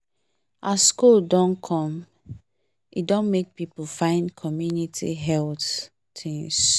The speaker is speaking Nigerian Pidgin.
as cold don come e don make people find community health things